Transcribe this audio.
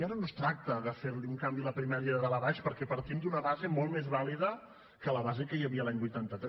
i ara no es tracta de fer li un canvi a la primària de dalt a baix perquè partim d’una base molt més vàlida que la base que hi havia l’any vuitanta tres